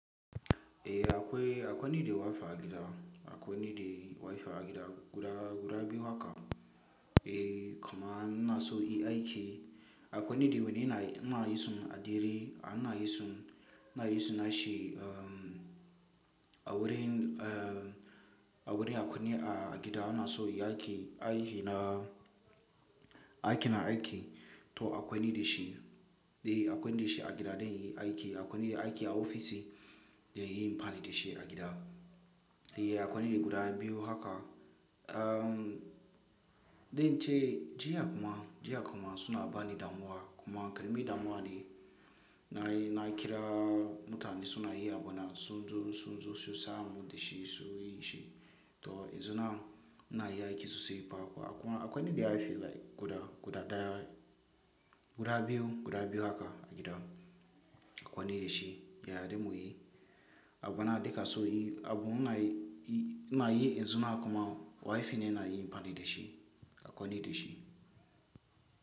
Akwai, akwai ni da wifi a gida, akwai ni da wifi a gida guda, guda biyu haka. Kaman ina so inyi aiki, akwai ni da wani ina, ina yi su a dare, ina yi su, ina yi su na shi a wurin a wurin akwai ni a gida ina so yi aiki, aiki na, aiki na aiki toh akwai ni dashi. Akwai ni dashi a gida dan inyi aiki akwai ni da aiki a ofishi, dan yin amfani da shi a gida. Akwai ni da guda biyu haka, dai in ce, jiya kuma, jiya kuma suna bani damuwa kuma karamin damuwa ne na yi, na kira mutane suna yi abu na, sun zo, sun zo su sa mun da shi su yi shi toh, yanzu nan ina yi aiki sosai ba kuwa akwai, akwai ni da wifi guda, guda daya, guda biyu, guda biyu haka a gida. Akwai ni dashi yaren mu ne abu na duka so yi abu muna yi, ina yi yanzu nan kuma wifi ne ina yin amfani da shi, akwai ni dashi.